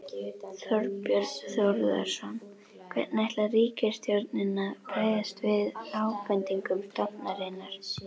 Þorbjörn Þórðarson: Hvernig ætlar ríkisstjórnin að bregðast við ábendingum stofnunarinnar?